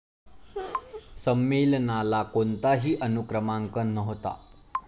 संमेलनाला कोणताही अनुक्रमांक नव्हता.